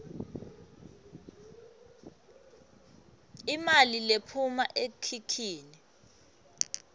imali lephuma ekhikhini